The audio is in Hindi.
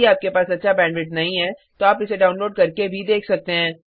यदि आपके पास अच्छा बैंडविड्थ नहीं है तो आप इसको डाउनलोड करने और देख सकते हैं